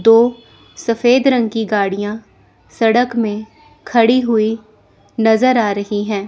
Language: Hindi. दो सफेद रंग की गाड़ियां सड़क में खड़ी हुई नजर आ रही है।